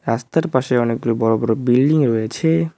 রাস্তার পাশে অনেকগুলো বড় বড় বিল্ডিং রয়েছে।